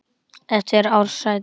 eftir Ársæl Jónsson